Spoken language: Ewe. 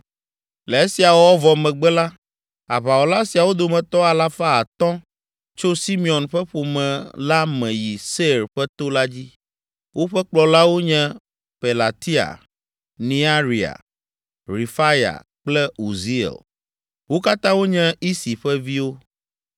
Le esia wɔwɔ vɔ megbe la, aʋawɔla siawo dometɔ alafa atɔ̃ tso Simeon ƒe ƒome la me yi Seir ƒe to la dzi. Woƒe kplɔlawo nye Pelatia, Nearia, Refaya kple Uziel. Wo katã wonye Isi ƒe viwo.